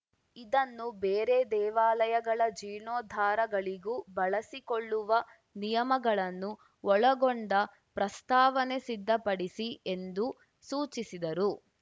ಇದನ್ನು ಬೇರೆ ದೇವಾಲಯಗಳ ಜೀರ್ಣೋದ್ಧಾರಗಳಿಗೂ ಬಳಸಿಕೊಳ್ಳುವ ನಿಯಮಗಳನ್ನು ಒಳಗೊಂಡ ಪ್ರಸ್ತಾವನೆ ಸಿದ್ಧಪಡಿಸಿ ಎಂದು ಸೂಚಿಸಿದರು